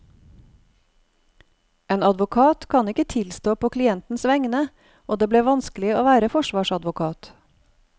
En advokat kan ikke tilstå på klientens vegne, og det ble vanskelig å være forsvarsadvokat.